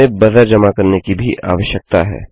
हमें बजर जमा करने की भी आवश्यकता है